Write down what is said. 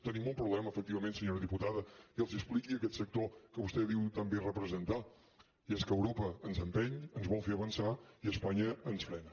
tenim un problema efectivament senyora diputada i els expliqui a aquest sector que vostè diu tan bé representar i és que europa ens empeny ens vol fer avançar i espanya ens frena